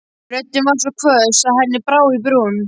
Röddin var svo hvöss að henni brá í brún.